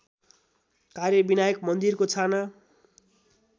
कार्यविनायक मन्दिरको छाना